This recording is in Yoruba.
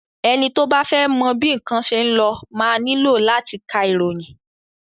Ẹni tí o bá fẹ́ mọ bí nnkan ṣe ń lọ máa nílò láti ka ìròyìn.